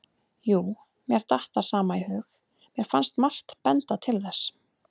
Jú, mér datt það sama í hug, mér fannst margt benda til þess.